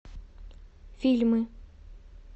фильмы